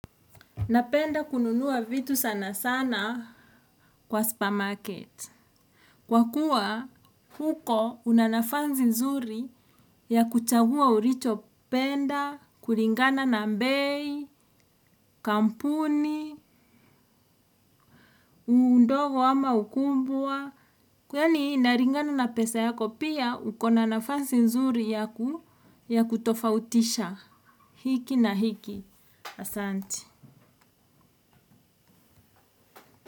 Napenda kununua vitu sana sana kwa supa market. Kwa kuwa huko una nafasi nzuri ya kuchagua ulicho penda, kulingana na bei, kampuni, udogo ama ukubwa. Yaani inalingana na pesa yako pia uko na nafasi nzuri ya kutofautisha hiki na hiki asante.